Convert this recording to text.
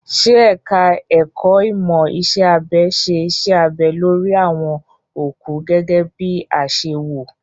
Ṣé ẹ̀ka ẹ̀kó ìmọ̀ iṣẹ́ abẹ ṣe iṣẹ́ abẹ lórí àwọn òkú gẹ́gẹ́ bí i àṣewò?